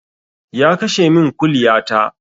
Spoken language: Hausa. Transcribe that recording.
Ya kashe min kuliya ta